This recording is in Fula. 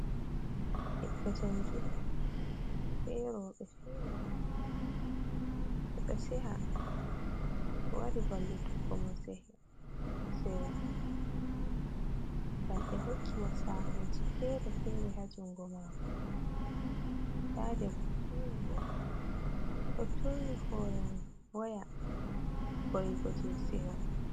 Ɓiɗɗo njangirde, ɓe roɓe fere ha kombi mako, ɓedo seha, ɓe wari vallutuggo mo seho, seyo ngam ɓe hokki mo sahuji fere- fere ha jungo mako, nɗa debbo fere bo, ɗo turni hore mun waya vugo je seho.